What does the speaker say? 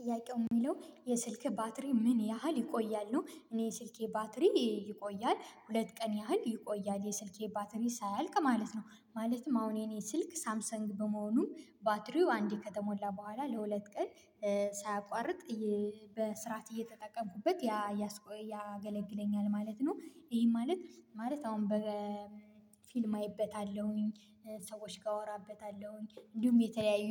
ጥያቄው የሚለው የስልክ ባትሪ ምን ያህል ይቆያል ነው? እኔ ስልኬ ባትሪ ይቆያል ሁለት ቀን ያህል ይቆያል የስልኬ ባትሪ ሳያልቅ ማለት ነው ማለትም አሁን የኔ ስልክ ሳምሰንግ በመሆኑ ባትሪው አንዴ ከተሞላ በኋላ ለሁለት ቀን ሳያቋርጥ በስርዓት እየተጠቀምኩበት ያገለግለኛል ማለት ነው። ይሄ ማለት ማለት አሁን በ ፊልም አይበታለሁኝ ሰዎች ጋር አወራበታለሁኝ እንዲሁም የተለያዩ